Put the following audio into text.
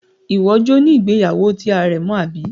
Iwọ jọ ni ìgbéyàwó ti arẹ̀mọ abi?